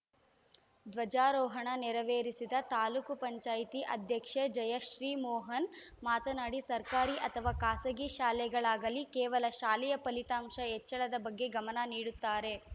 ಧ್ವಜಾರೋಹಣ ನೆರವೇರಿಸಿದ ತಾಲೂಕ್ ಪಂಚಾಯತಿ ಅಧ್ಯಕ್ಷೆ ಜಯಶ್ರೀಮೋಹನ್‌ ಮಾತನಾಡಿ ಸರ್ಕಾರಿ ಅಥವಾ ಖಾಸಗಿ ಶಾಲೆಗಳಾಗಲಿ ಕೇವಲ ಶಾಲೆಯ ಫಲಿತಾಂಶ ಹೆಚ್ಚಳದ ಬಗ್ಗೆ ಗಮನ ನೀಡುತ್ತಾರೆ